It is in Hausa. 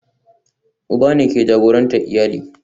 Uban ne ke jagorantar iyali